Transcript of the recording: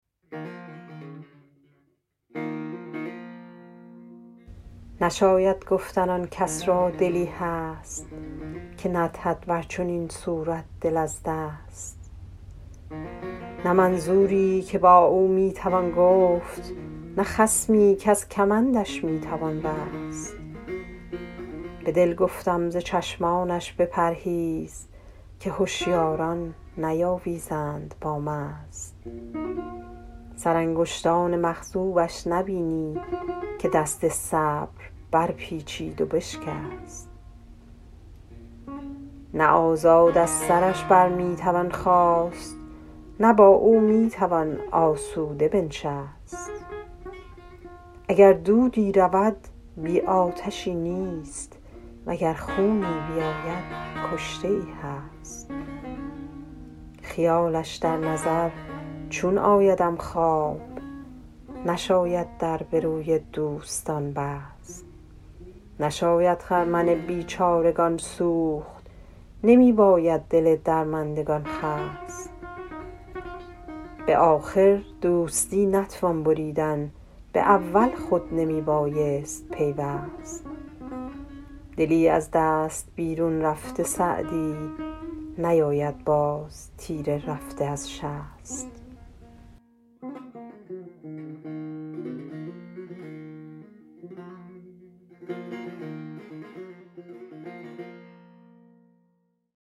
نشاید گفتن آن کس را دلی هست که ندهد بر چنین صورت دل از دست نه منظوری که با او می توان گفت نه خصمی کز کمندش می توان رست به دل گفتم ز چشمانش بپرهیز که هشیاران نیاویزند با مست سرانگشتان مخضوبش نبینی که دست صبر برپیچید و بشکست نه آزاد از سرش بر می توان خاست نه با او می توان آسوده بنشست اگر دودی رود بی آتشی نیست و گر خونی بیاید کشته ای هست خیالش در نظر چون آیدم خواب نشاید در به روی دوستان بست نشاید خرمن بیچارگان سوخت نمی باید دل درماندگان خست به آخر دوستی نتوان بریدن به اول خود نمی بایست پیوست دلی از دست بیرون رفته سعدی نیاید باز تیر رفته از شست